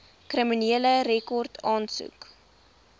kriminele rekord aansoek